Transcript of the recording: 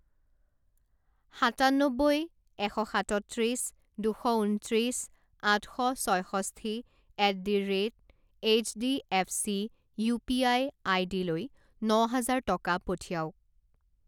সাতান্নব্বৈ এশ সাতত্ৰিছ দুশ ঊনত্ৰিছ আঠ শ ছয়ষষ্ঠি at the rate HDFC UPI আইডিলৈ ন হাজাৰ টকা পঠিয়াওক।